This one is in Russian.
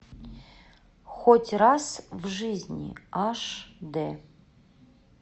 хоть раз в жизни аш дэ